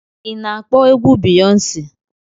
Ị na-akpọ egwu Biyọnsi?